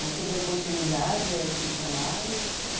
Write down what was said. Aí você deu continuidade a esse trabalho?